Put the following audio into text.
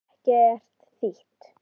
Það hefði ekkert þýtt.